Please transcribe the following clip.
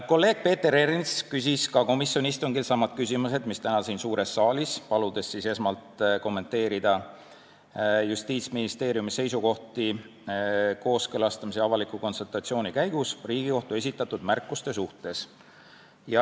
Kolleeg Peeter Ernits küsis ka komisjoni istungil samu küsimusi, mis täna siin suures saalis, paludes esmalt kommenteerida Justiitsministeeriumi seisukohti kooskõlastamise ja avaliku konsultatsiooni käigus Riigikohtu esitatud märkuste suhtes.